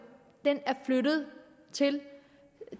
den er flyttet til